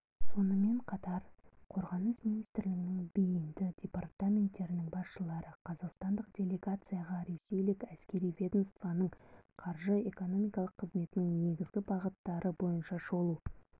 сонымен қатар қорғаныс министрлігінің бейінді департаменттерінің басшылары қазақстандық делегацияға ресейлік әскери ведомствоның қаржы-экономикалық қызметінің негізгі бағыттары бойынша шолу